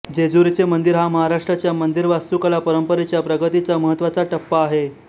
जेजुरीचे मंदिर हा महाराष्ट्राच्या मंदिरवास्तुकला परंपरेच्या प्रगतीचा महत्त्वाचा टप्पा आहे